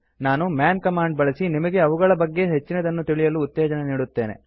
ನಾನು man command ಬಳಸಿ ನಿಮಗೆ ಅವುಗಳ ಬಗ್ಗೆ ಹೆಚ್ಚಿನದನ್ನು ತಿಳಿಯಲು ಉತ್ತೇಜನ ನೀಡುತ್ತೇನೆ